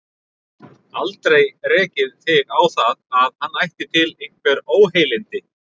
Aldrei rekið þig á það, að hann ætti til einhver óheilindi?